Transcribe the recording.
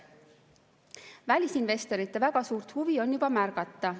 Välisinvestorite väga suurt huvi on juba märgata.